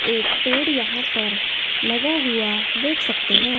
एक पेड़ यहां पर लगा हुआ देख सकते हैं।